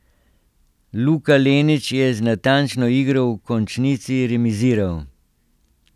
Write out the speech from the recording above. Luka Lenič je z natančno igro v končnici remiziral.